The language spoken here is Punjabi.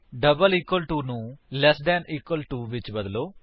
ਡਬਲ ਇਕਵਲ ਟੂ ਨੂੰ ਲੈਸ ਦੈਨ ਇਕਵਲ ਟੂ ਵਿਚ ਬਦਲੋ